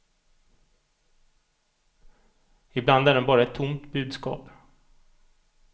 Ibland är den bara ett tomt budskap.